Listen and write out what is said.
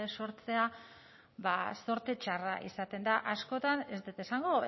sortzea ba zorte txarra izaten da askotan ez dut esango